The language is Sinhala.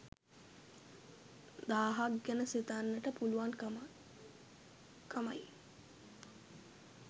දාහක් ගැන සිතන්නට පුළුවන්කමයි.